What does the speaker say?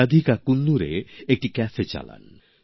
রাধিকা কুন্নুরে একটি ক্যাফে চালান